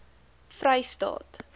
vrystaat